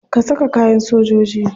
Ka saka kayan sojoji.